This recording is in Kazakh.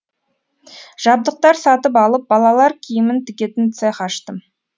жабдықтар сатып алып балалар киімін тігетін цех аштым